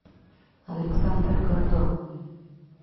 александр гордон